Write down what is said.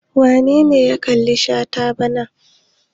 Wane ne ya kalli tashe bana?